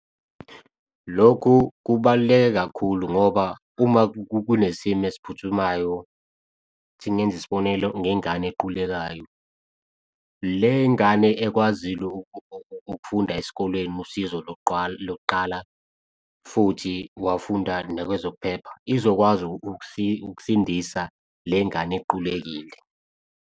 Lokhu kubaluleke kakhulu ngoba uma kunesimo esiphuthumayo ithi ngenze isibonelo, ngengane equlekayo, le ngane ekwazile ukufunda esikolweni usizo lokuqala futhi wafunda nakwezokuphepha izokwazi ukusindisa le ngane equlekile.